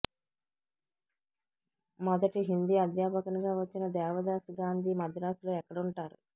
మొదటి హిందీ అధ్యాపకునిగా వచ్చిన దేవదాసు గాంధీ మద్రాసులో ఎక్కడుంటారు